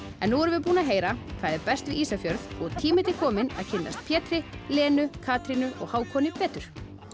nú erum við búin að heyra hvað er best við Ísafjörð og tími til kominn að kynnast Pétri Lenu Katrínu og Hákoni betur